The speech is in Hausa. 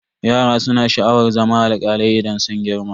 Yaran su na sha'awar zama alkalai idan sun girma.